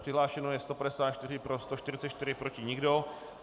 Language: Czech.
Přihlášeno je 154, pro 144, proti nikdo.